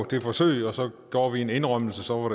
det forsøg og så gjorde vi en indrømmelse og så var